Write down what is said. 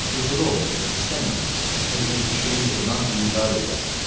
Yuxuda olmusunuz, istəməmisiniz özünüzü şirin yuxudan bidar eləyəsiz.